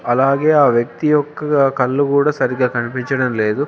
అలాగే ఆ వ్యక్తి యొక్క కళ్ళు కూడా సరిగా కనిపించడం లేదు.